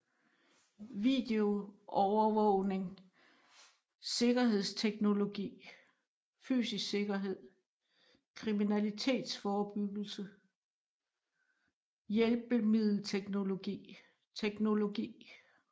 Video Overvågning Sikkerhedsteknologi Fysisk sikkerhed Kriminalitetsforebyggelse Hjælpemiddelteknologi Teknologi